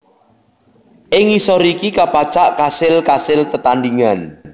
Ing ngisor iki kapacak kasil kasil tetandhingan